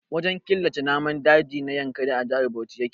Wajen killace namun daji na Yankari a Jihar Bauchi yake.